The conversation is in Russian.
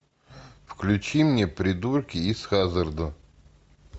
включи мне придурки из хаззарда